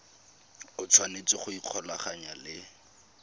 o tshwanetse go ikgolaganya le